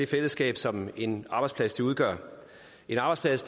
fællesskab som en arbejdsplads udgør en arbejdsplads